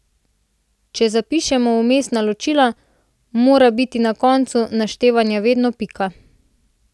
Če zapišemo vmesna ločila, mora biti na koncu naštevanja vedno pika.